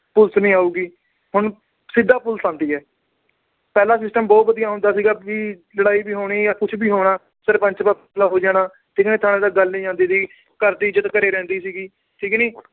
police ਨੀ ਆਉਗੀ। ਹੁਣ ਸਿੱਧਾ police ਆਉਂਦੀ ਆ। ਪਹਿਲਾ system ਬਹੁਤ ਵਧੀਆ ਹੁੰਦਾ ਸੀ ਵੀ ਲੜਾਈ ਵੀ ਹੋਣੀ ਜਾਂ ਕੁਛ ਵੀ ਹੋਣਾ, ਸਰਪੰਚ ਤੋਂ ਫੈਸਲਾ ਹੋ ਜਾਣਾ, senior ਥਾਣੇ ਤੱਕ ਗੱਲ ਨੀ ਜਾਂਦੀ ਸੀ। ਘਰ ਦੀ ਇੱਜਤ ਘਰੇ ਰਹਿੰਦੀ ਸੀ, ਠੀਕ ਨੀ।